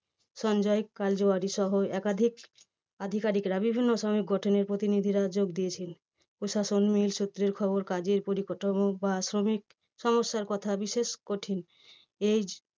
সঞ্জয় কালজারি সহ একাধিক আধিকারিকরা বিভিন্ন শ্রমিক গঠনের প্রতিনিধিরা যোগ দিয়েছিলেন। প্রশাসন mill সূত্রের খবর কাজের পরিকাঠামো বা শ্রমিক সমস্যার কথা বিশেষ কঠিন। এই